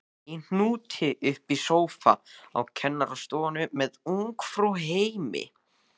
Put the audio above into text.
Í hnút uppi í sófa á kennarastofunni með Ungfrú heimi!